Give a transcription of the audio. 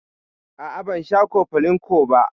A'a ban sha cofflin ko ba.